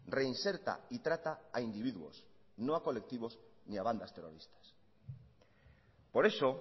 reinserta y trata a individuos no a colectivos ni a bandas terroristas por eso